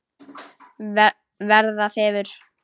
Verða þefur.